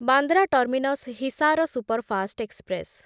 Bandra terminus Hisar superfast express